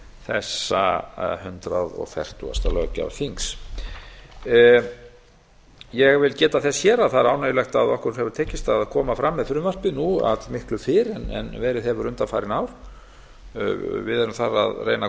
þessa hundrað fertugasta löggjafarþings ég vil geta þess hér að það er ánægjulegt að okkur hefur tekist að koma fram með frumvarpið nú allmiklu fyrr en verið hefur undanfarin ár við erum þar að reyna að